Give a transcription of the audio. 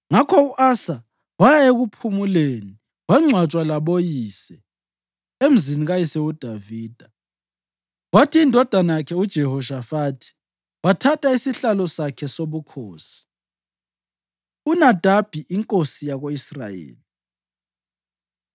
Ngakho u-Asa waya ekuphumuleni wangcwatshwa laboyise emzini kayise uDavida. Kwathi indodana yakhe uJehoshafathi wathatha isihlalo sakhe sobukhosi. UNadabi Inkosi Yako-Israyeli